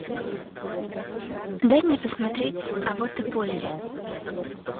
дай мне посмотреть а вот и полли